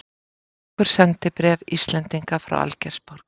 Nokkur sendibréf Íslendinga frá Algeirsborg.